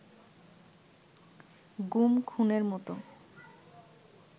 গুম খুনের মতো